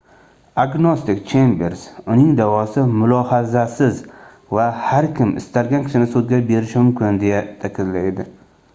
agnostik chembers uning daʼvosi mulohazasiz va har kim istalgan kishini sudga berishi mumkin - deya taʼkidlaydi